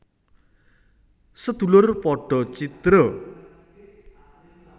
Sedulur padha cidra